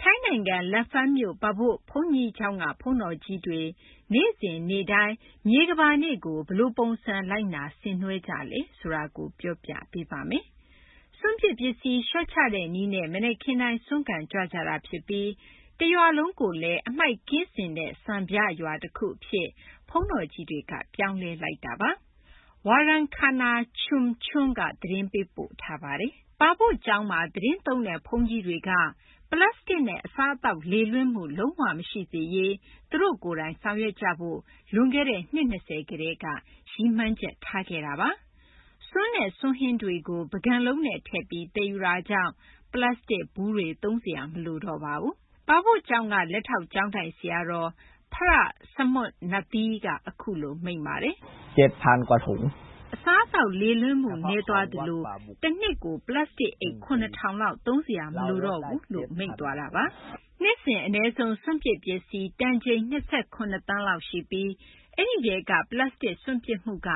ထိုင်းနိုင်ငံ Lamphun မြို့ Pa Book ဘုန်းကြီးကျောင်းက ဘုန်းတော်ကြီးတွေ နေ့စဉ်နေ့တိုင်း မြေကမ္ဘာနေ့ကို ဘယ်လိုပုံစံ လိုက်နာ ဆင်နွှဲကြပါသလဲ။ စွန့်ပစ်ပစ္စည်း လျှော့ချတဲ့နည်းနဲ့ မနက်ခင်းတိုင်း ဆွမ်းခံကြွကြတာဖြစ်ပြီး Pa Book ရွာကိုလည်း စွန့်ပစ်ပစ္စည်းမရှိတဲ့ စံပြရွာတခုအဖြစ် ဘုန်းတော်ကြီးတွေက ပြောင်းလဲလိုက်တာပါ။ ဒီအကြောင်းနဲ့ ပတ်သက်လို့ ဗွီအိုအေသတင်းထောက် Warangkana Chomchuem သတင်းပေးပို့ထားတာကို မသိင်္ဂီထိုက် တင်ပြပေးထားပါတယ်။ Pa Book ကျောင်းမှာ သီတင်းသုံးတဲ့ ဘုန်းကြီးတွေက ပလတ်စတစ်နဲ့ အစားအသောက် လေလွင့်မှု လုံးဝမရှိစေရေး သူတို့ကိုယ်တိုင် ဆောင်ရွက်ဖို့ လွန်ခဲ့တဲ့ နှစ် ၂၀ ကတည်းက ရည်မှန်းချက်ချခဲ့တာပါ။ ဆွမ်းနဲ့ ဆွမ်းဟင်းတွေကို ပန်းကန်လုံးနဲ့ထည့်ပြီး သယ်ယူတာကြောင့် ပလတ်စတစ်ဘူးတွေ သုံးစရာ မလိုတော့ပါဘူး။ Pa Book ကျောင်းက လက်ထောက် ကျောင်းထိုင်ဆရာတော် Pra Samutnatthee က အခုလို မိန့်ပါတယ်။ “အစားအသောက် လေလွင့်မှု နည်းသွားသလို တနှစ်ကို ပလတ်စတစ်အိတ် ၇,၀၀၀ လောက် သုံးစရာလည်း မလိုတော့ဘူးပေါ့။” နှစ်စဉ် အနည်းဆုံး စွန့်ပစ်ပစ္စည်း တန်ချိန် ၂၇ သန်းလောက်ရှိပြီး အဲဒီထဲမှာ ပလတ်စတစ် စွန့်ပစ်မှုက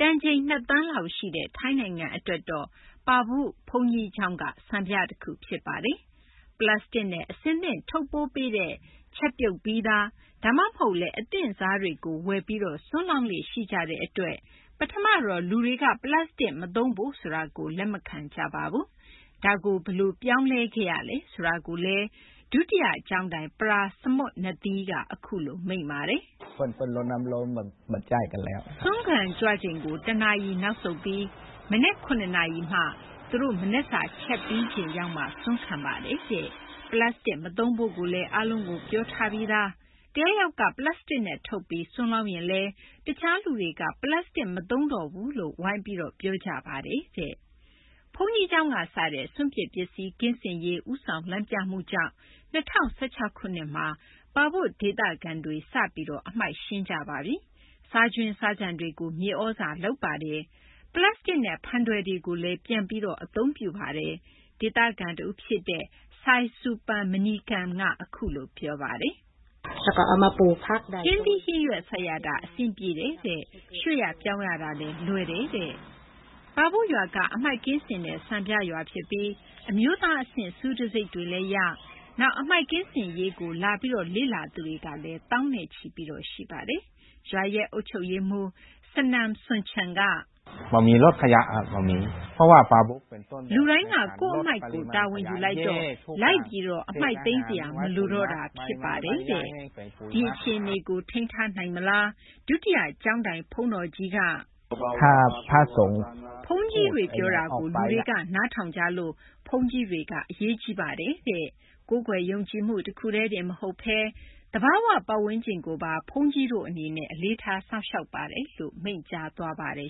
တန်ချိန် ၂ သန်းလောက်ရှိတဲ့ ထိုင်းနိုင်ငံအတွက်တော့ Pa Book ဘုန်းကြီးကျောင်းက စံပြတခု ဖြစ်ပါတယ်။ ပလတ်စတစ်နဲ့ အဆင်သင့် ထုပ်ပိုးပေးတဲ့ ချက်ပြုတ်ပြီးသား ဒါမှမဟုတ်လည်း အသင့်စားတွေကို ဝယ်ပြီး ဆွမ်းလောင်းလေ့ ရှိကြတဲ့အတွက် ပထမတော့ လူတွေက ပလတ်စတစ်မသုံးဖို့ ဆိုတာကို လက်မခံကြပါဘူး။ ဒါကို ဘယ်လိုပြောင်းလဲခဲ့ရလဲ ဆိုတာကို Pa Book ကျောင်းက ဒုတိယကျောင်းထိုင် Pra Samutnatthee က အခုလို မိန့်ပါတယ်။ “ဆွမ်းခံကြွချိန်ကို တနာရီ နောက်ဆုတ်ပြီး မနက် ၇ နာရီမှ သူတို့ မနက်စာ ချက်ပြီးချိန်ရောက်မှ ဆွမ်းခံပါတယ်။ ပလတ်စတစ် မသုံးဖို့လည်း အားလုံးကို ပြောထားပြီးသားပါ။ တယောက်ယောက်က ပလတ်စတစ်နဲ့ထုပ်ပြီး ဆွမ်းလောင်းရင်လည်း တခြားလူတွေက ပလတ်စတစ် မသုံးတော့ဘူးလို့ ဝိုင်းပြီး ပြောကြပါတယ်။” ဘုန်းကြီးကျောင်းကစတဲ့ စွန့်ပစ်ပစ္စည်း ကင်းစင်ရေး ဦးဆောင် လမ်းပြမှုကြောင့်ပဲ ၂၀၁၆ ခုနှစ်မှာ Pa Book ဒေသခံတွေ စပြီး အမှိုက်ရှင်းခဲ့ကြပြီးပါပြီ။ စားကြွင်းစားကျန်တွေကို မြေသြဇာလုပ်ပါတယ်။ ပလတ်စတစ်နဲ့ ဖန်ထည်တွေကိုလည်း ပြန်လည်အသုံးပြုခဲ့ကြပါတယ်။ ဒေသခံတဦးဖြစ်တဲ့ Saisupan Maneekan က အခုလို ပြောပါတယ်။ “ဟင်းသီးဟင်းရွက်စိုက်ရတာ အဆင်ပြေတယ်၊ ရွှေ့ရ ပြောင်းရ လွယ်ပါတယ်။” Pa Book ရွာက အမှိုက်ကင်းစင်တဲ့ စံပြရွာဖြစ်ပြီး အမျိုးသားအဆင့် ဆုတံဆိပ်တွေလည်းရ၊ နောက် အမှိုက်ကင်းစင်ရေးကို လာလေ့လာသူကလည်း သောင်းနဲ့ချီ ရှိပါတယ်။ ရွာအုပ်ချုပ်ရေးမှူး Sanan Somchan က အခုလို ပြောပါတယ်။ “လူတိုင်းက ကိုယ့်အမှိုက်ကိုယ် တာဝန်ယူလိုက်တော့ အမှိုက်လိုက်သိမ်းစရာ မလိုတော့တာ ဖြစ်ပါတယ်။” ဒီအခြေအနေကို ထိန်းထားနိုင်မလား။ ဒုတိယ ကျောင်းထိုင်ဘုန်းကြီး Pra Samutnatthee က…. “ဘုန်းကြီးတွေပြောတာကို လူတွေက နားထောင်ကြလို့ ဘုန်းကြီးတွေက အရေးကြီးပါတယ်။ ကိုးကွယ်ယုံကြည်မှု တခုတည်းတင် မဟုတ်ဘဲ သဘာဝပတ်ဝန်းကျင်ကိုပါ ဘုန်းကြီးတို့အနေနဲ့ အလေးထား စောင့်ရှောက်ပါတယ်” လို့ မိန့်ကြားသွားပါတယ်